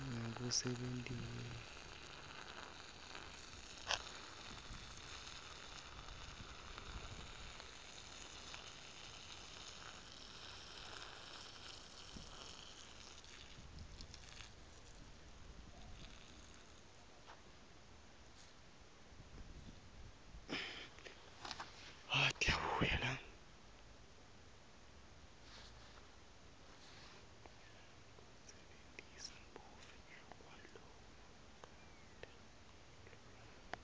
ngekusebentisa buve kwalongakatalelwa